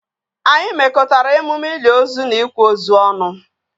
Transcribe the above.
Anyị mekọtara emume ili ozu na ịkwa ozu ọnụ